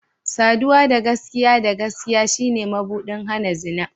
Saduwa da gaskiya da gaskiya shine mabuɗin hana zina.